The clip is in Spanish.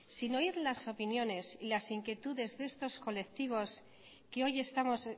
sin oír las opiniones y las inquietudes de estos colectivos que hoy estamos